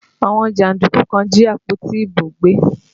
Àwọn jàndúkú kan jí àpótí ìbò gbé